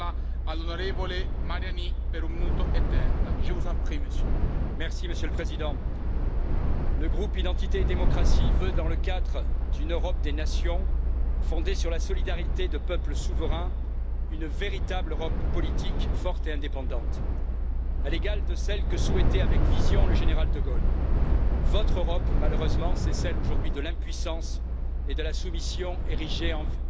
Monsieur le Président, le groupe Identité et démocratie veut, dans le cadre d'une Europe des nations fondée sur la solidarité de peuples souverains, une véritable Europe politique forte et indépendante, à l'égal de celle que souhaitait avec vision le général de Gaulle. Votre Europe, malheureusement, c'est celle aujourd'hui de l'impuissance et de la soumission érigées en vertus cardinales. Impuissance face au péril islamiste,